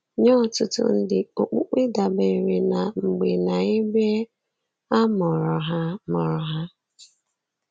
Nye ọtụtụ ndị, okpukpe dabeere na mgbe na ebe a mụrụ ha. mụrụ ha.